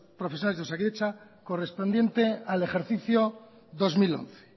profesionales de osakidetza correspondiente al ejercicio dos mil once